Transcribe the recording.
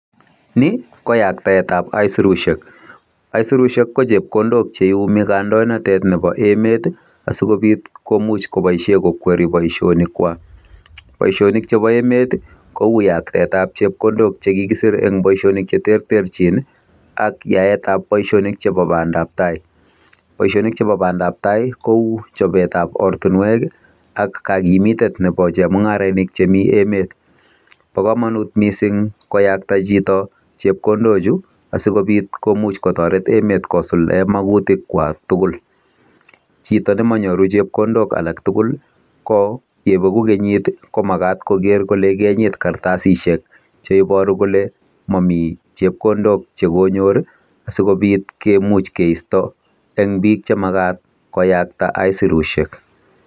Ni ko yaktaet ab aisirusiek. Aisirusiek ko chepkondok cheiyumi kandoinatetet nebo emet asigopit komuch koboisie kokweri boisionikwak. Boisionik chebo emet kou yaksetab chepkondok che kikisir eng boisionik che terterchin ak yaetab boisionik chebo banda tai. Boisionik chebo bandab tai kou chobetab ortinwek ak kakimitetab nebo chemungarainik chemi emet. Bo kamanut mising koyakta chito chepkondo chu asigopit komuch kotoret emet kosuldaen magutik kwak tugul. Chito nemanyoru chepkondok alak tugul ko yebegu kenyit ko magat koger kole keenyit kartasisiek cheibaru kole mami chepkondok che konyor sigopit kemuch keisto eng biik che magat koyakta aisirusiek.